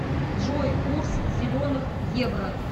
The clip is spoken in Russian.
джой курс зеленых евро